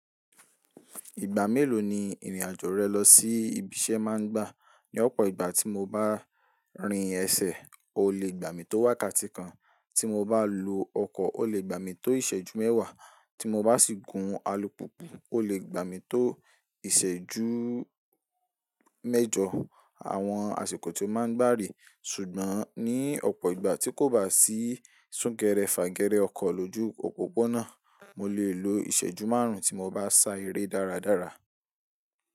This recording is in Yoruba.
Ìgbà mélòó ni ìrìn àjò rẹ lọ sí ibi iṣẹ́ máa ń gbà? Ní ọ̀pọ̀ ìgbà tí mo bá rin ẹsẹ̀, ó lè gbà mí tó wákàtí kan. Tí mo bá lo ọkọ̀, ó lè gbà mí tó ìṣẹ́jú mẹ́wàá. Tí mo bá sì gun alùpùpù, ó lè gbà mí tó ìṣẹ́jú mẹ́jọ. Àwọn àsìkò tí ó máa ń gbà rè, ṣùgbọ́n ní ọ̀pọ̀ ìgbà tí kò bá sí súnkẹrẹ fàgẹrẹ ọkọ̀ lójú òpópónà, mo lè lo ìṣẹ́jú márùn tí mo bá sá eré dáradára.